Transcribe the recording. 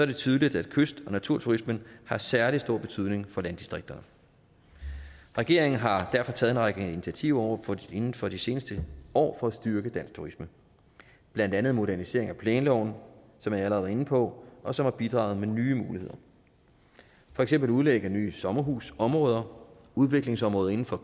det tydeligt at kyst og naturturismen har særlig stor betydning for landdistrikterne regeringen har derfor taget en række initiativer inden for de seneste år for at styrke dansk turisme blandt andet modernisering af planloven som jeg allerede har været inde på og som har bidraget med nye muligheder for eksempel at udlægge nye sommerhusområder udviklingsområder inden for